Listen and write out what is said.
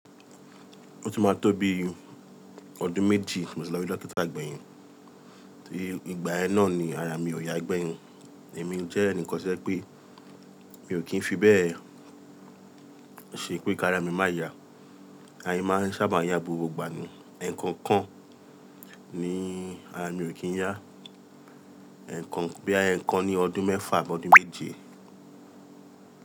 Ó tún máa tó bi ọdún méjì mo tì lọ rí dókítà gbẹ̀yìn. Tí ìgbà ẹ náà ni ara mi ò yá gbẹ̀yìn. Èmi jẹ́ ẹnìkan to jẹ́ pé mi ò kí ń fi bẹ́ẹ̀ ṣe pé kí ara mi má ya. Ara mi máa ń sábà yá gbogbo ìgbà ni. Ẹ̀ẹ̀kan kan ni ara mi ò kí ń yá. Ẹ̀ẹ̀kan boya ẹ̀ẹ̀kan ní ọdún mẹ́fà àbọ́dún méje.